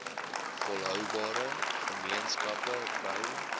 volhoubare gemeenskappe bou